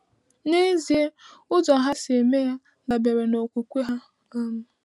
N'ezie, ụzọ ha si eme ya dabere n’okwukwe ha. um